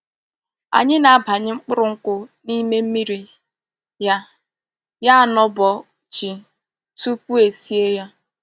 Anyi na-abanye mkpuru nkwu n'ime mmiri ya ya anobo chi tupu esie ya.